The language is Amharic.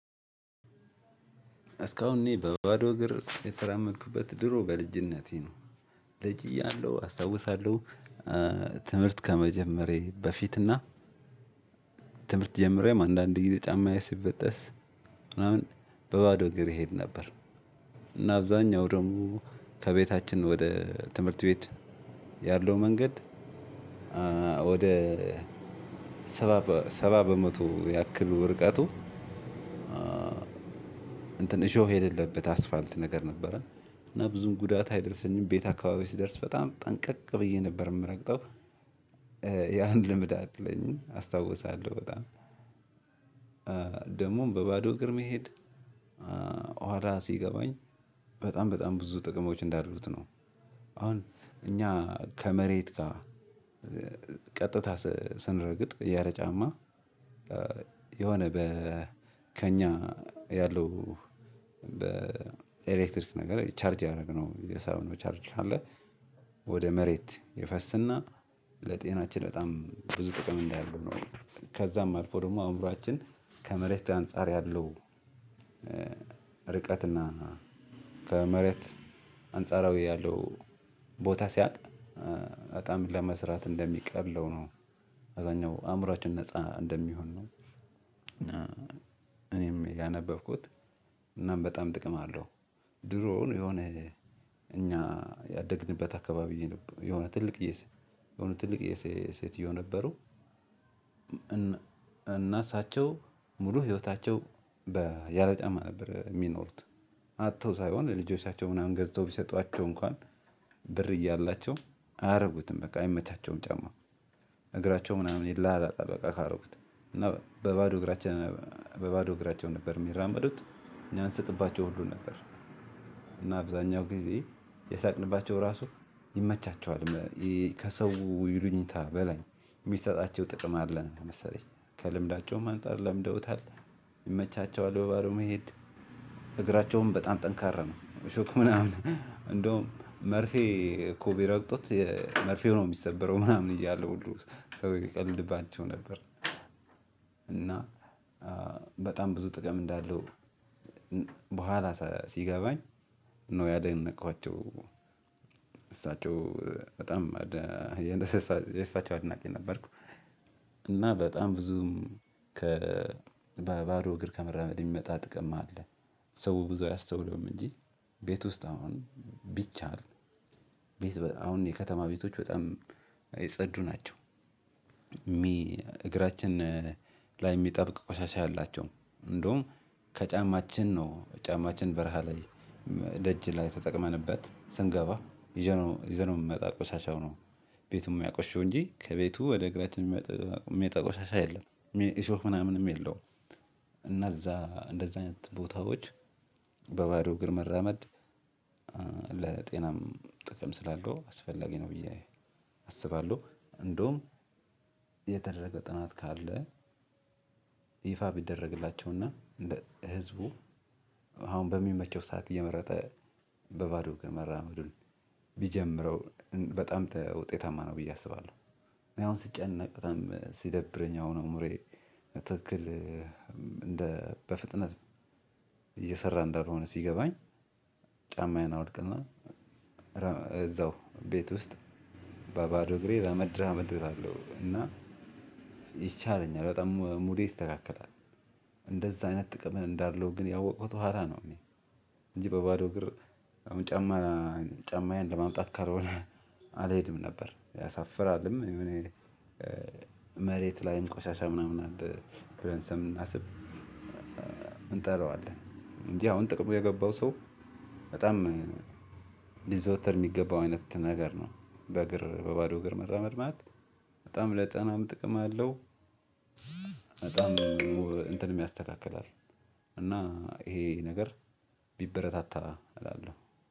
እስካሁን እኔ በባዶ እግር የተራመድኩበት ድሮ በልጅነቴ ነው። ልጅ እያለሁ አስታውሳለሁ። ትምህርት ከመጀመሬ በፊት እና። ትምህርት ጀምሮም አንዳንዴ ጊዜ ጫማዬ ሲበጠስ ምናምን በባዶ እግር እሄድ ነበር። እና አብዛኛው ደግሞ ከቤታችን ወደ ትምህርት ቤት ያለው መንገድ። ወደ ሰባ ሰባ በመቶ ያክል ርቀቱ። እንትን እሾህ የሌለበት አስፋልት ነገር ነበረ እና ብዙም ጉዳት አይደርሰኝም ቤት አካባቢ ስደርስ በጣም ጠንቀቅ ብዬ ነበር የምረግጠው። ያህን ልምድ አለኝ አስታውሳለሁ። በጣም ደግሞም በባዶ እግር መሄድ ኋላ ሲገባኝ በጣም በጣም ብዙ ጥቅሞች እንዳሉት ነው። አሁን እኛ ከመሬት ጋር ቀጥታ ስንረግጥ ያለ ጫማ። የሆነ በ ከእኛ ያለው በኤሌክትሪክ ነገር ቻርጅ ያደረግነው የሳብነው ቻርጅ አለ። ወደ መሬት ይፈስና ለጤናችን በጣም ብዙ ጥቅም እንዳለው ነው። ከዛም አልፎ ደግሞ አእምሯችን ከመሬት አንፃር ያለው ርቀትና ከመሬት አንጻራዊ ያለው ቦታ ሲያጣ በጣም ለመስራት እንደሚቀለው ነው። አብዛኛው አእምሯችን ነፃ እንደሚሆን ነው። እኔም ያነበብኩት እናም በጣም ጥቅም አለው። ድሮውን የሆነ እኛ ያደግንበት አካባቢዬ የሆነ ትልቅ የሆነ ትልቅ ሴትዮ ነበሩ። እና እሳቸው ሙሉ ህይወታቸው በ ያለጫማ ነበር የሚኖሩት። አጥተው ሳይሆን ልጆቻቸው ምናምን ገዝተው ቢሰጧቸው እንኳን ብር እያላቸው አያደርጉትም በቃ አይመቻቸውም ጫማ። እግራቸው ምናምን ይላላጣል በቃ ካረጉት እና በባዶ እግራቸው በባዶ እግራቸው ነበር የሚራመዱት እኛ እንስቅባቸው ሁሉ ነበር። እና አብዛኛው ጊዜ የሳቅንባቸው ራሱ ይመቻቸዋል። ከሰው ይሉኝታ በላይ የሚሰጣቸው ጥቅም አለ መሰለኝ ከልምዳቸውም አንፃር ለምደውታል። ይመቻቸዋል በባዶ መሄድ እግራቸውም በጣም ጠንካራ ነው። እሾክ ምናምን እንደውም መርፌ እኮ ቢረግጡት መርፌው ነው የሚሰበረው ምናምን እያለ ሁሉ ሰው ይቀልድባቸው ነበር። እና በጣም ብዙ ጥቅም እንዳለው በኋላ ሲገባኝ ነው ያደነኳቸው። እሳቸው በጣም የእሳቸው አድናቂ ነበርኩ። እና በጣም ብዙም ከ ባዶ እግር ከመራመድ የሚመጣ ጥቅም አለ። ሰው ብዙ አያስተውለውም እንጂ ቤት ውስጥ አሁን ቢቻል ቤት በጣም አሁን የከተማ ቤቶች በጣም የጸዱ ናቸው። እግራችን ላይ የሚጠብቅ ቆሻሻ የላቸውም እንደውም ከጫማችን ነው ጫማችን በረሃ ላይ ደጅ ላይ ተጠቅመንበት ስንገባ ይዘነው ይዘነው የምመጣ ቆሻሻው ነው። ቤቱም የሚያቆሽሸው እንጂ ከቤቱ ወደ እግራችን የሚመጣ ቆሻሻ የለም። እሾክ ምናምንም የለውም። እነዛ እንደዛ አይነት ቦታዎች በባዶ እግር መራመድ ለጤናም ጥቅም ስላለው አስፈላጊ ነው። ብዬ አስባለሁ። እንደውም የተደረገ ጥናት ካለ ይፋ ቢደረግላቸውና ህዝቡ አሁን በሚመቸው ሰዓት እየመረጠ በባዶ መራመዱን ቢጀምረው በጣም ውጤታማ ነው ብዬ አስባለሁ። እኔ አሁን ስጨነቅ በጣም ሲደብረኝ አሁን አእምሮዬ ትክክል እንደ በፍጥነት እየሰራ እንዳልሆነ ሲገባኝ ጫማዬን አወልቅና እዛው ቤት ውስጥ በባዶ እግሬ ራመድ ራመድ እላለው እና ይሻለኛል በጣም ሙዴ ይስተካከላል። እንደዛ አይነት ጥቅም እንዳለው ግን ያወቀኩት ኋላ ነው። እኔ እንጂ በባዶ እግር አሁን ጫማ ጫማዬን ለማምጣት ካልሆነ አልሄድም ነበር ያሳፍራልም እኔ መሬት ላይም ቆሻሻ ምናምን አለ ብለን ስለምናስብ እንጠራዋለን እንጂ አሁን ጥቅሙ የገባው ሰው በጣም ሊዘወተር የሚገባው አይነት ነገር ነው። በእግር በባዶ እግር መራመድ ማለት በጣም ለጤናም ጥቅም አለው። በጣም እንትን የሚያስተካክላል እና ይሄ ነገር ቢበረታታ እላለሁ።